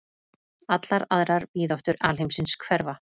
Allar aðrar víðáttur alheimsins hverfa.